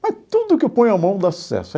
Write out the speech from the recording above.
Mas tudo que eu ponho a mão dá sucesso.